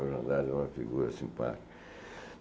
O João Andrade é uma figura simpática.